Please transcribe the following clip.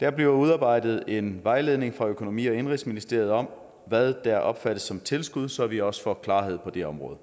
der bliver udarbejdet en vejledning fra økonomi og indenrigsministeriet om hvad der opfattes som tilskud så vi også får klarhed på det område